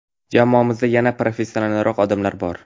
Jamoamizda yanada professionalroq odamlar bor.